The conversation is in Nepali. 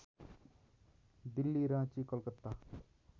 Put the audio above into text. दिल्ली राँची कलकत्ता